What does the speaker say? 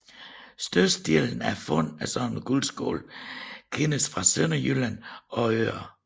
Størstedelen af fund af sådanne guldskåle kendes fra Sønderjylland og øerne